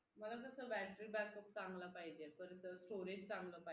मला कसं battery backup चांगला पाहिजे परत storage चांगला पाहिजे